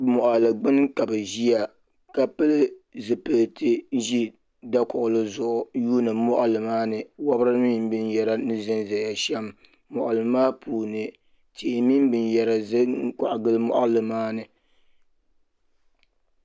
Moɣali gbini ka ti ʒia ka pili zipilti n ʒi dakuɣuri zuɣu yuuni koɣali maani wobri mini binyɛra ni ʒinʒiya shem moɣali maa puuni tihi mini binyera kongili moɣali maani.